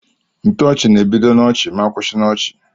Ntoochi na ebido na ọchi ma kwụsi na ọchi.